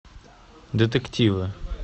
детективы